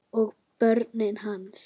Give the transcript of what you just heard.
Og börnin hans.